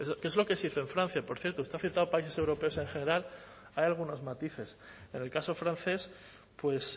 que es lo que se hizo en francia por cierto usted ha citado países europeos en general hay algunos matices en el caso francés pues